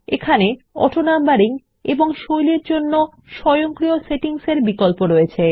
চাইলে অটোনাম্বারিং এবং স্টাইলস এর জন্য স্বয়ংক্রিয় সেটিংস ধার্য করতে পারেন